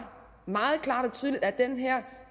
meget klart og tydeligt at den her